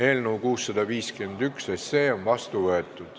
Eelnõu 651 on seadusena vastu võetud.